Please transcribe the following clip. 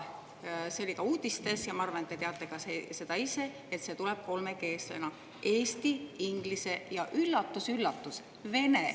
See oli ka uudistes ja ma arvan, et te teate ka ise seda, et see tuleb kolmekeelsena: eesti, inglise ja – üllatus-üllatus!